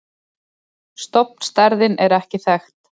Stofnstærðin er ekki þekkt.